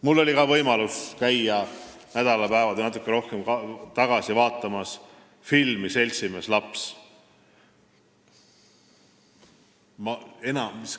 Mul oli võimalus käia nädalapäevad ja natuke rohkem tagasi vaatamas filmi "Seltsimees laps".